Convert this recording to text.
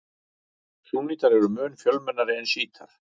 Súnnítar eru mun fjölmennari en sjítar.